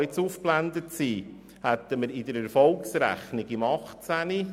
Im Jahr 2018 hätten wir also in der Erfolgsrechnung ein Plus von 80,3 Mio. Franken.